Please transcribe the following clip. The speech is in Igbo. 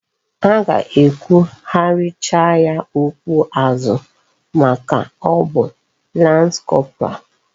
Ha ga ekwu hachiri ya okwu azu maka o bu lance corporal